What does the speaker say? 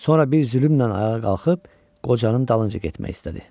Sonra bir zülümlə ayağa qalxıb qocanın dalınca getmək istədi.